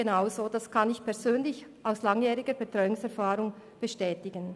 Genau dies kann ich aus meiner langjährigen Betreuungserfahrung bestätigen.